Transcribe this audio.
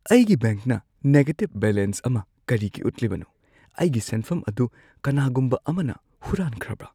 ꯑꯩꯒꯤ ꯕꯦꯡꯛꯅ negative balance ꯑꯃ ꯀꯔꯤꯒꯤ ꯎꯠꯂꯤꯕꯅꯣ? ꯑꯩꯒꯤ ꯁꯦꯟꯐꯝ ꯑꯗꯨ ꯀꯅꯥꯒꯨꯝꯕ ꯑꯃꯅ ꯍꯨꯔꯥꯟꯈ꯭ꯔꯕꯥ ?